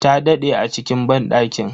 Ta daɗe a cikin banɗakin.